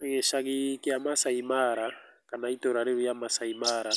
Gĩcagi kĩa Masaai Mara kana itũra rĩu rĩa Maasai Mara